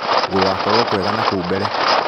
Gũgakorwo kwega nakũu mbere.